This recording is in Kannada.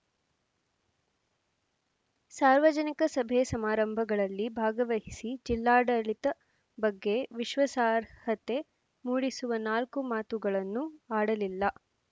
ಸಾರ್ವಜನಿಕ ಸಭೆ ಸಮಾರಂಭಗಳಲ್ಲಿ ಭಾಗವಹಿಸಿ ಜಿಲ್ಲಾಡಳಿತ ಬಗ್ಗೆ ವಿಶ್ವಾಸಾರ್ಹತೆ ಮೂಡಿಸುವ ನಾಲ್ಕು ಮಾತುಗಳನ್ನೂ ಆಡಲಿಲ್ಲ